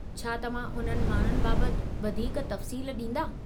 छा तव्हां उन्हनि माण्हुनि बाबति वधीक तफ़सील ॾींदा?